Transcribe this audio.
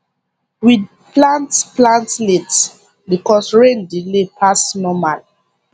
we plant plant late because rain delay pass normal